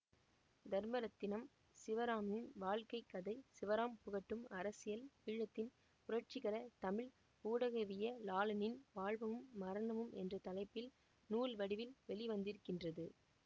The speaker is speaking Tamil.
தர்மரத்தினம் சிவராமின் வாழ்க்கைக் கதை சிவராம் புகட்டும் அரசியல் ஈழத்தின் புரட்சிகர தமிழ் ஊடகவியலாளனின் வாழ்வும் மரணமும் என்ற தலைப்பில் நூல் வடிவில் வெளிவந்திருக்கின்றது